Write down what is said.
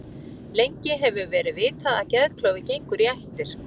Lengi hefur verið vitað að geðklofi gengur í ættir.